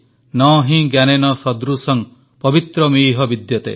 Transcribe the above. ନ ହି ଜ୍ଞାନେନ ସଦୃଶଂ ପବିତ୍ର ମିହ ବିଦ୍ୟତେ